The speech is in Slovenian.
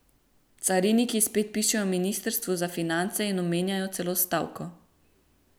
Cariniki spet pišejo ministrstvu za finance in omenjajo celo stavko.